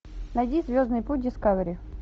найди звездный путь дискавери